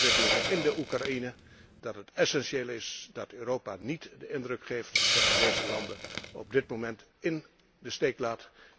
Met de ontwikkelingen in de Oekraïne weten we eens te meer dat het essentieel is dat Europa niet de indruk geeft dat het deze landen op dit moment in de steek laat.